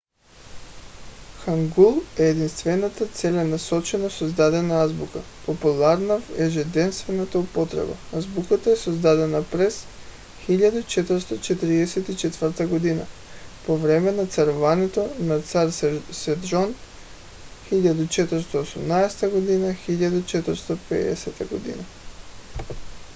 хангул е единствената целенасочено създадена азбука популярна в ежедневната употреба. азбуката е създадена през 1444 г. по време на царуването на цар седжон 1418 г. – 1450 г.